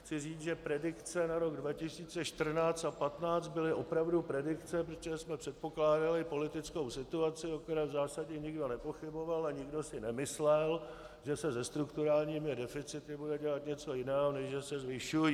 Chci říct, že predikce na rok 2014 a 2015 byly opravdu predikce, protože jsme předpokládali politickou situaci, o které v zásadě nikdo nepochyboval, a nikdo si nemyslel, že se se strukturálními deficity bude dělat něco jiného, než že se zvyšují.